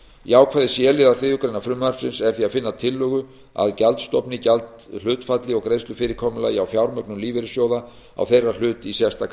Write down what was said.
í ákvæði c liðar þriðju greinar frumvarpsins er því að finna tillögu að gjaldstofni gjaldhlutfalli og greiðslufyrirkomulagi á fjármögnun lífeyrissjóða á þeirra hlut í sérstakri